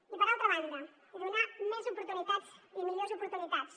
i per altra banda donar més oportunitats i millors oportunitats